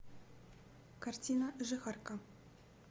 картина жихарка